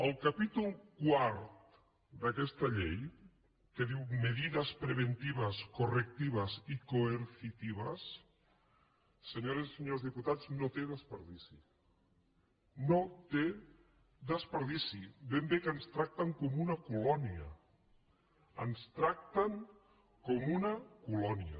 el capítol quart d’aquesta llei que diu medidas preventivas correctivas y coercitivas senyores i senyors diputats no té desperdici no té desperdici ben bé que ens tracten com a una colònia ens tracten com a una colònia